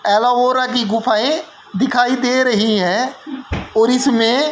एलोवोरा की गुफाएं दिखाई दे रही हैं और इसमें--